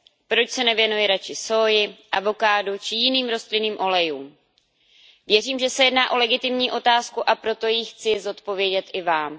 Proč se nevěnuji radši sóji, avokádu či jiným rostlinným olejům. Věřím, že se jedná o legitimní otázku, a proto ji chci zodpovědět i vám.